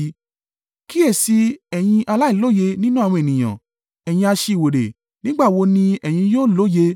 Kíyèsi i, ẹ̀yin aláìlóye nínú àwọn ènìyàn; ẹ̀yin aṣiwèrè, nígbà wo ni ẹ̀yin yóò lóye?